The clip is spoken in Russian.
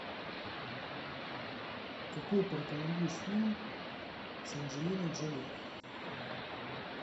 какой порекомендуешь фильм с анджелиной джоли